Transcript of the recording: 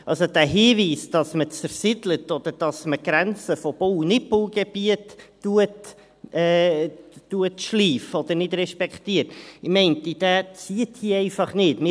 Also: Dieser Hinweis, wonach man zersiedelt oder die Grenze von Bau- und Nichtbaugebieten schleift oder nicht respektiert, zieht einfach nicht, meine ich.